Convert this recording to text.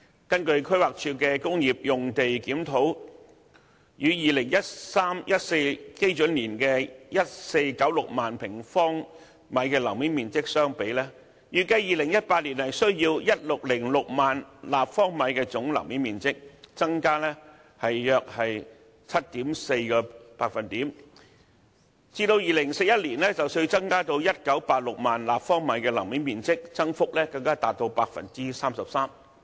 根據規劃署的工業用地檢討，與 2013-2014 基準年的 1,496 萬平方米樓面面積相比，預計2018年需要 1,606 萬平方米總樓面面積，較 2013-2014 年度增加約 7.4%， 至2041年，須增至 1,986 萬平方米樓面面積，增幅更達 33%。